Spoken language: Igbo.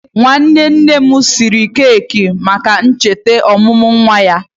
Nwanne nne anyị siri keki maka ncheta ọmụmụ nwa ya.